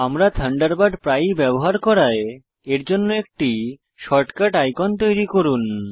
আমরা থান্ডারবার্ড প্রায়ই ব্যবহার করায় এরজন্য একটি শর্টকাট আইকন তৈরি করুন